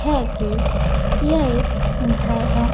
है कि यह एक घर है।